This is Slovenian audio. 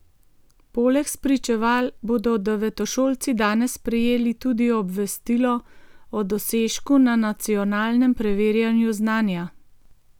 Poleg spričeval bodo devetošolci danes prejeli tudi obvestilo o dosežku na nacionalnem preverjanju znanja.